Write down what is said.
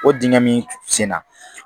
O dingɛ min senna